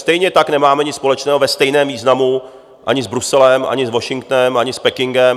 Stejně tak nemáme nic společného ve stejném významu ani s Bruselem, ani s Washingtonem, ani s Pekingem.